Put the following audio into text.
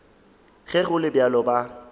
ge go le bjalo ba